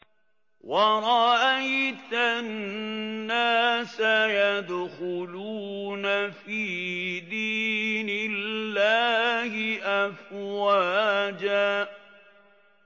وَرَأَيْتَ النَّاسَ يَدْخُلُونَ فِي دِينِ اللَّهِ أَفْوَاجًا